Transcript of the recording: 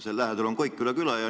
Seal lähedal on Koikküla.